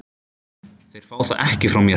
Þeir fá það ekki frá mér.